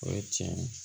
O ye tiɲɛ ye